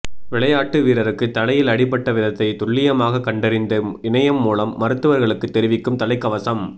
விளையாட்டு வீரருக்கு தலையில் அடிபட்ட விதத்தை துல்லியமாக கண்டறிந்து இணையம் மூலம் மருத்துவர்களுக்கு தெரிவிக்கும் தலைக்கவசம்